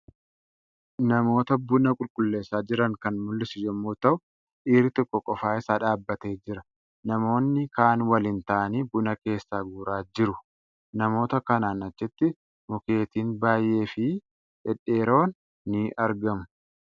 Namoota buna qulleessaa jiran kan mul'isu yommuu ta'u, dhiirri tokko qofaa isaa dhaabbatee jira. Namoonni kaan waliin taa'anii buna keessaa guuraa jiru. Namoota kanaan achitti mukeettiin baay'ee fi Dhedheeroon ni argamu.